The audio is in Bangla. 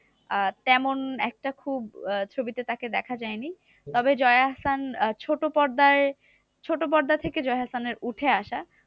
আহ তেমন একটা খুব ছবিতে তাকে দেখা যায়নি। তবে জয়া আহসান ছোট পর্দায় ছোট পর্দা থেকে জয়া আহসানের উঠে আসা।